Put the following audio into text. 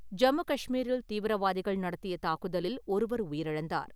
ஜம்மு கஷ்மீரில் தீவிரவாதிகள் நடத்திய தாக்குதலில் ஒருவர் உயிரிழந்தார்.